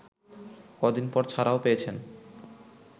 কদিন পর ছাড়াও পেয়েছেন